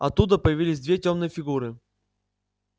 оттуда появились две тёмные фигуры